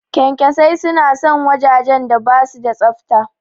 Ƙyanƙyasai suna son wajajen da basu da tsafta.